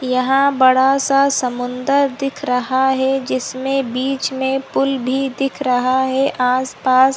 यहाँ बड़ा-सा समुन्दर दिख रहा है जिसमें बीच में पूल भी दिख रहा है आसपास--